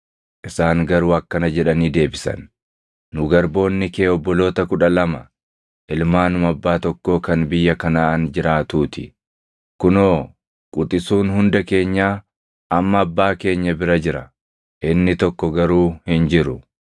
Isaan garuu akkana jedhanii deebisan; “Nu garboonni kee obboloota kudha lama, ilmaanuma abbaa tokkoo kan biyya Kanaʼaan jiraatuu ti. Kunoo quxisuun hunda keenyaa amma abbaa keenya bira jira; inni tokko garuu hin jiru.”